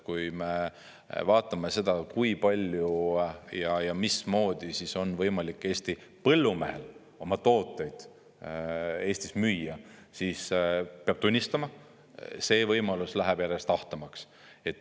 Kui me vaatame seda, kui palju ja mismoodi on võimalik Eesti põllumehel oma tooteid Eestis müüa, siis peab tunnistama, et see võimalus läheb järjest ahtamaks.